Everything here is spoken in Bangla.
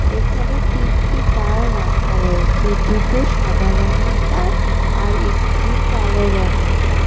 এখানে তিনটি কার রাখা রয়েয়েছে দুটো সাদা রঙের কাআর আর একটি কালোও রঙের কার ।